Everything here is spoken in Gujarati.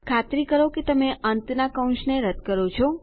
ખાતરી કરો કે તમે અંતનાં કૌંસને રદ્દ કરો છો